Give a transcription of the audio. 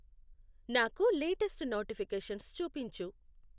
నాకు లేటెస్ట్చూ నోటిఫికేషన్స్ చూపించు.